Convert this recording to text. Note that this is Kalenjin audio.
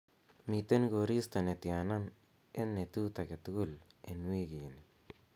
miten koristo netyana en netut agetugul en wigini